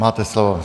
Máte slovo.